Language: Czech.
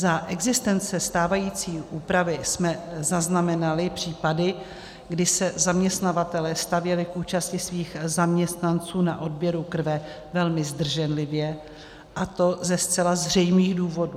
Za existence stávající úpravy jsme zaznamenali případy, kdy se zaměstnavatelé stavěli k účasti svých zaměstnanců na odběru krve velmi zdrženlivě, a to ze zcela zřejmých důvodů.